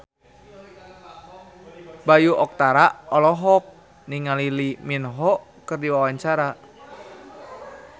Bayu Octara olohok ningali Lee Min Ho keur diwawancara